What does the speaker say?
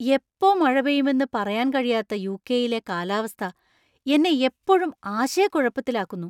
എപ്പോ മഴ പെയ്യുമെന്ന് പറയാൻ കഴിയാത്ത യു.കെ.യിലെ കാലാവസ്ഥ എന്നെ എപ്പോഴും ആശയക്കുഴപ്പത്തിലാക്കുന്നു.